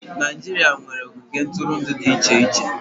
Naịjirịa nwere ogige ntụrụndụ dị iche iche.